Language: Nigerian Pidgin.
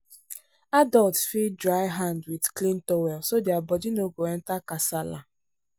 adults fit dry hand with with clean towel so their body no go enter kasala.